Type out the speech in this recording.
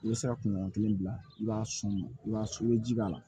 I bɛ se ka kunɲɔgɔn kelen bila i b'a sɔn i b'a sɔn ni ji b'a la